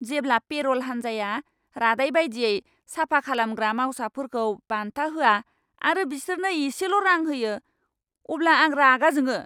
जेब्ला पेर'ल हानजाया रादाय बायदियै साफा खालामग्रा मावसाफोरखौ बान्था होआ आरो बिसोरनो एसेल'रां होयो अब्ला आं रागा जोङो।